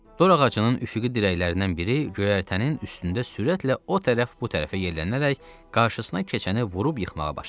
Dor ağacının üfüqi dirəklərindən biri göyərtənin üstündə sürətlə o tərəf bu tərəfə yellənərək qarşısına keçəni vurub yıxmağa başladı.